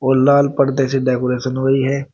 लाल पर्दे से डेकोरेशन हुई है।